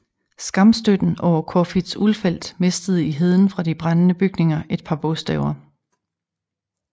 Skamstøtten over Corfitz Ulfeldt mistede i heden fra de brændende bygninger et par bogstaver